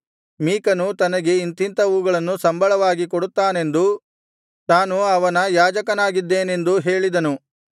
ಮೀಕನು ತನಗೆ ಇಂಥಿಂಥವುಗಳನ್ನು ಸಂಬಳವಾಗಿ ಕೊಡುತ್ತಾನೆಂದೂ ತಾನು ಅವನ ಯಾಜಕನಾಗಿದ್ದೇನೆಂದೂ ಹೇಳಿದನು